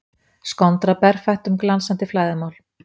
Skondra berfætt um glansandi flæðarmál.